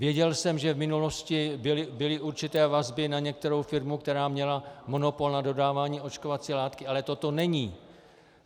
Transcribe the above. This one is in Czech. Věděl jsem, že v minulosti byly určité vazby na některou firmu, která měla monopol na dodávání očkovací látky, ale toto není.